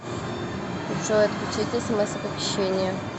джой отключить смс оповещения